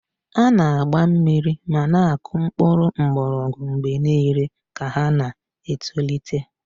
A na-agba mmiri ma na-akụ mkpụrụ mgbọrọgwụ mgbe niile ka ha na-etolite.